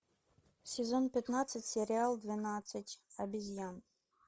сезон пятнадцать сериал двенадцать обезьян